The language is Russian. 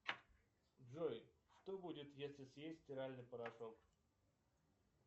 джой что будет если съесть стиральный порошок